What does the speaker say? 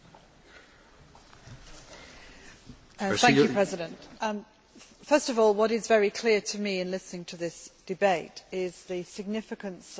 Mr President, first of all, what is very clear to me in listening to this debate is the significance of our call for a credible inquiry.